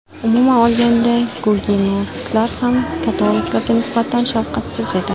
Umuman olganda, gugenotlar ham katoliklarga nisbatan shafqatsiz edi.